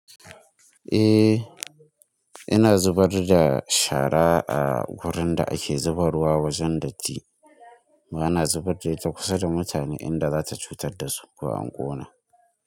Eh, ina zubar da shara a wurin da ake zuba rwa wajen datti, ba na zubar da ita kusa da mutane inda za ta cutar da su ko anƙo na.